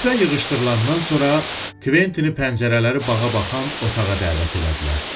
Süfrə yığışdırılandan sonra Kventini pəncərələri bağa baxan otağa dəvət elədilər.